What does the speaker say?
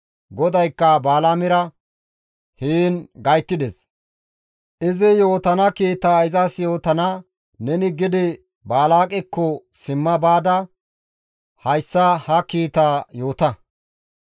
GODAYKKA Balaamera heen gayttides; izi yootana kiitaa izas yootidi neni Balaaqekko simma baada hayssa ha kiitaa izas yoota.